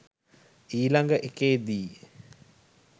ඊලග එකේදී